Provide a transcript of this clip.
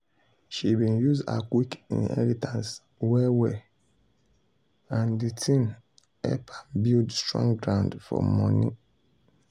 she been use her quick inheritance well well and de thing help am build strong ground for money.